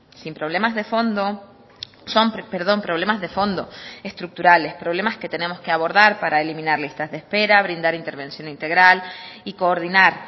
sin problemas de fondo son perdón problemas de fondo estructurales problemas que tenemos que abordar para eliminar listas de espera brindar intervención integral y coordinar